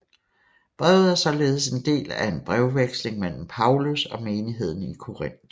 Brevet er således en del af en brevveksling mellem Paulus og menigheden i Korinth